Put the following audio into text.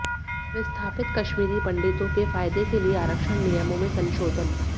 विस्थापित कश्मीरी पंडितों के फायदे के लिए आरक्षण नियमों में संशोधन